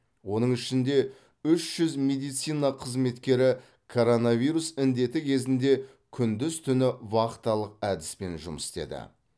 оның ішінде үш жүз медицина қызметкері коронавирус індеті кезінде күндіз түні вахталық әдіспен жұмыс істеді